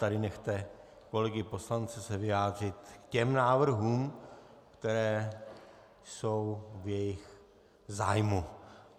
Tady nechte kolegy poslance se vyjádřit k těm návrhům, které jsou v jejich zájmu.